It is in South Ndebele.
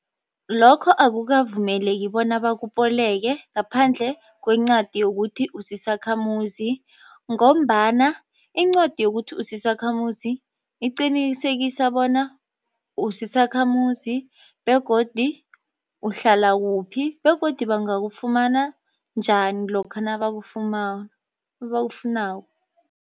Lokho akukavumeleki bona bakuboleke ngaphandle kwencwadi yokuthi usisakhamuzi ngombana incwadi yokuthi usisakhamuzi iqinisekisa bona usisakhamuzi begodu uhlala kuphi begodu bangakufumana njani lokha nabakufuma nabakufunako.